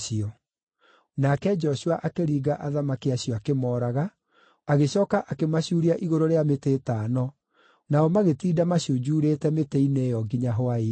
Nake Joshua akĩringa athamaki acio akĩmooraga, agĩcooka akĩmacuuria igũrũ rĩa mĩtĩ ĩtano, nao magĩtinda macunjurĩte mĩtĩ-inĩ ĩyo nginya hwaĩ-inĩ.